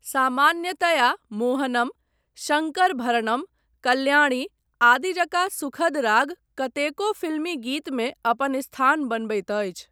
सामान्यतया मोहनम, शंकरभरणम, कल्याणी आदि जकाँ सुखद राग कतेको फिल्मी गीतमे अपन स्थान बनबैत अछि।